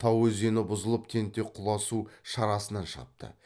тау өзені бұзылып тентек құла су шарасынан шығыпты